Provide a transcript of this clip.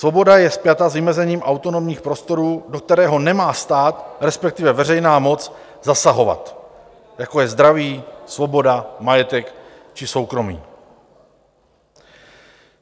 Svoboda je spjata s vymezením autonomních prostorů, do kterého nemá stát, respektive veřejná moc zasahovat, jako je zdraví, svoboda, majetek či soukromí.